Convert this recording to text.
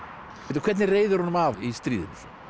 hvernig reiðir honum af í stríðinu